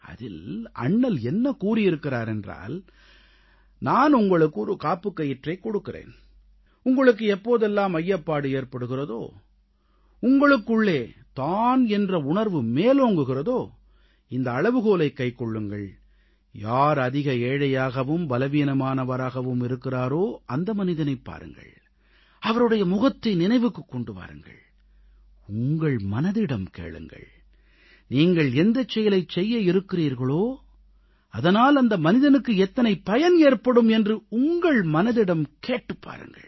அதில் அண்ணல் என்ன கூறியிருக்கிறார் என்றால் நான் உங்களுக்கு ஒரு காப்புக் கயிற்றைக் கொடுக்கிறேன் உங்களுக்கு எப்போதெல்லாம் ஐயப்பாடு ஏற்படுகிறதோ உங்களுக்குள்ளே தான் என்ற உணர்வு மேலோங்குகிறதோ இந்த அளவுகோலைக் கைக்கொள்ளுங்கள் யார் அதிக ஏழையாகவும் பலவீனமானவராகவும் இருக்கிறாரோ அந்த மனிதனைப் பாருங்கள் அவருடைய முகத்தை நினைவுக்குக் கொண்டு வாருங்கள் உங்கள் மனதிடம் கேளுங்கள் நீங்கள் எந்த செயலைச் செய்ய இருக்கிறீர்களோ அதனால் அந்த மனிதனுக்கு எத்தனை பயன் ஏற்படும் என்று உங்கள் மனதிடம் கேட்டுப் பாருங்கள்